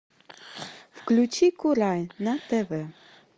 включи курай на тв